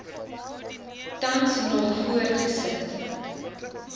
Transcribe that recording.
tans nog voortgesit